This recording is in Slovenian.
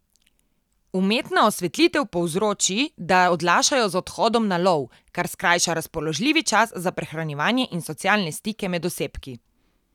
Umetna osvetlitev povzroči, da odlašajo z odhodom na lov, kar skrajša razpoložljivi čas za prehranjevanje in socialne stike med osebki.